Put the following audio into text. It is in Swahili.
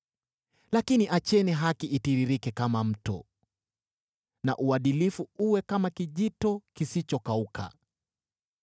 Lakini acheni haki itiririke kama mto, na uadilifu uwe kama kijito kisichokauka!